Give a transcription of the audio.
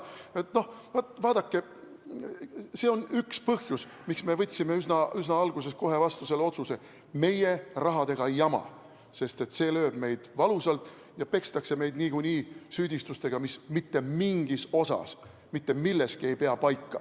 Vaadake, see on üks põhjusi, miks me võtsime üsna alguses kohe vastu selle otsuse: meie rahaga ei jama, sest see lööb meid valusalt ja pekstakse meid niikuinii süüdistustega, mis mitte milleski ei pea paika.